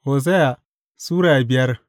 Hosiya Sura biyar